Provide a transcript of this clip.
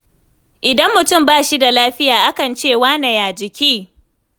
Idan mutum ba shi da lafiya a kan ce 'wane ya jiki?